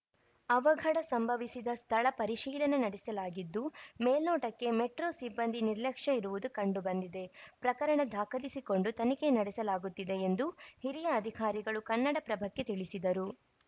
ಅವಘಡ ಸಂಭವಿಸಿದ ಸ್ಥಳ ಪರಿಶೀಲನೆ ನಡೆಸಲಾಗಿದ್ದು ಮೇಲ್ನೋಟಕ್ಕೆ ಮೆಟ್ರೋ ಸಿಬ್ಬಂದಿ ನಿರ್ಲಕ್ಷ್ಯ ಇರುವುದು ಕಂಡು ಬಂದಿದೆ ಪ್ರಕರಣ ದಾಖಲಿಸಿಕೊಂಡು ತನಿಖೆ ನಡೆಸಲಾಗುತ್ತಿದೆ ಎಂದು ಹಿರಿಯ ಅಧಿಕಾರಿಗಳು ಕನ್ನಡಪ್ರಭಕ್ಕೆ ತಿಳಿಸಿದರು